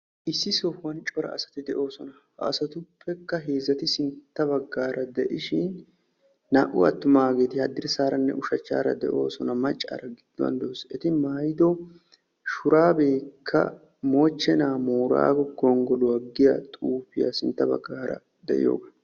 Issi sohuwan cora asati de'oosona. hagetuppekka heezzati sintta baggaara de'ishin naa''u attumageeti haddirssaranne ushshachchaara de'oosona. maccaara giduwaan de'awus. etaw shurabekka mochchena booraggo gonggoluwaa giyaa xuufiya sintta baggaara de'iyooga.